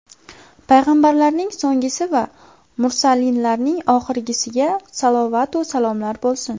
Payg‘ambarlarning so‘nggisi va mursalinlarning oxirgisiga salovatu salomlar bo‘lsin.